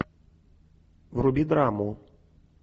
вруби драму